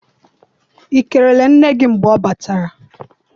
I kelere nne gị mgbe ọ batara?